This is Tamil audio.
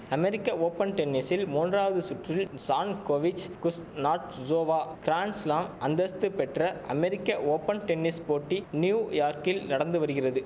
அமெரிக்க ஓப்பன் டென்னிஸ் மூன்றாவது சுற்றில் சான்கோவிச் குஸ்னாட்ஜோவா கிராண்ட்ஸ்லாம் அந்தஸ்து பெற்ற அமெரிக்க ஓப்பன் டென்னிஸ் போட்டி நியூயார்க்கில் நடந்து வரிகிறது